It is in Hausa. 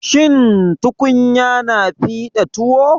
Shin tukunya na fiɗa tuwo?